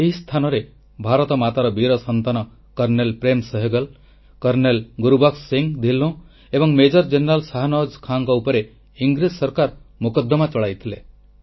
ଏହି ସ୍ଥାନରେ ଭାରତମାତାର ବୀର ସନ୍ତାନ କର୍ଣ୍ଣେଲ ପ୍ରେମ୍ ସେହଗଲ୍ କର୍ଣ୍ଣେଲ ଗୁରବକ୍ସ ସିଂହ ଧିଲ୍ଲୋଁ ଏବଂ ମେଜର ଜେନେରାଲ ଶାହ ନୱାଜ୍ ଖାନଙ୍କ ଉପରେ ଇଂରେଜ ସରକାର ମୋକଦ୍ଦମା ଚଳାଇଥିଲେ